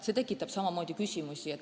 See tekitab samamoodi küsimusi.